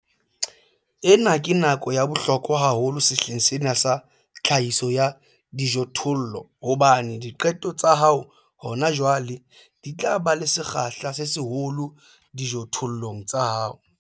Ena ke nako ya bohlokwa haholo sehleng sena sa tlhahiso ya dijothollo hobane diqeto tsa hao hona jwale di tla ba le sekgahla se seholo dijothollong tsa hao.